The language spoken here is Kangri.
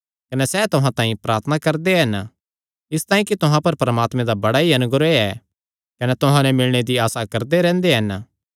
कने सैह़ तुहां तांई प्रार्थना करदे हन इसतांई कि तुहां पर परमात्मे दा बड़ा ई अनुग्रह ऐ कने तुहां नैं मिलणे दी आसा करदे रैंह्दे हन